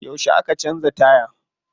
Yauce aka canza taya?